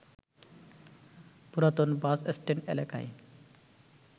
পুরাতন বাসস্ট্যান্ড এলাকায়